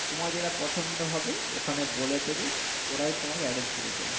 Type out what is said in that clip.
তোমার যেটা পছন্দ হবে ওখানে বলে দেবে ওরাই তোমাকে arrange করে দেবে